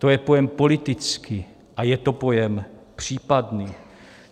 To je pojem politický a je to pojem případný.